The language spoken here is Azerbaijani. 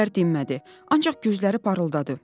Gülər dinmədi, ancaq gözləri parıldadı.